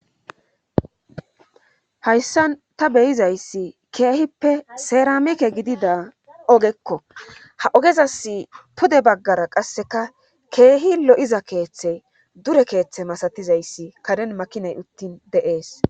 hayssan ta beyizayssi keehippe seeramike gidida ogekko ha ogezas pude baggara qasseka keehi lo7iza keeththe dure keeththe masatizayssi kaden makinay uttin deees